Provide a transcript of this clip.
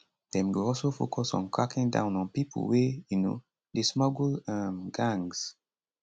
dem go also focus on cracking down on pipo wey um dey smuggle um gangs